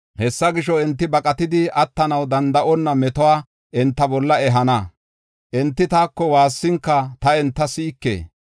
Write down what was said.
Hessa gisho, ‘Enti baqatidi attanaw danda7onna metuwa enta bolla ehana. Enti taako waassinka ta enta si7ike.